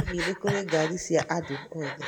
Hihi nĩ kũrĩ ngari cia andũ othe?